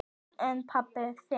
Barn: En pabbi þinn?